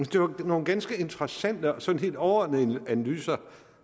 det var nogle ganske interessante og sådan helt overordnede analyser